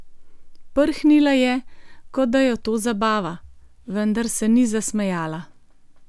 Prhnila je, kot da jo to zabava, vendar se ni zasmejala.